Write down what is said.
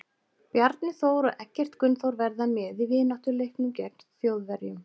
Bjarni Þór og Eggert Gunnþór verða með í vináttuleiknum gegn Þjóðverjum.